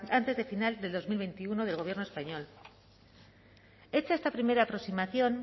antes de final de dos mil veintiuno del gobierno español hecha esta primera aproximación